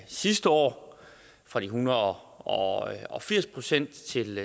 sidste år fra en hundrede og og firs procent til